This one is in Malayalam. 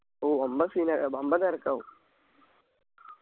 ഓ എന്ന scene ആ ഏർ വമ്പൻ തെരക്കാവും